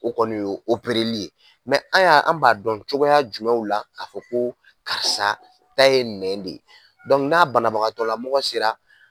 O kɔni y'o li ye an' y'a an' b'a dɔn cogoya jumɛw la k'a fɔ koo karisa ta ye nɛn de? n'a banabagatɔla mɔgɔ sera